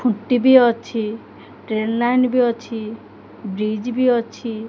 ଖୁଣ୍ଟି ବି ଅଛି ଟ୍ରେନ ଲାଇନ ବି ଅଛି ବ୍ରିଜ ବି ଅଛି।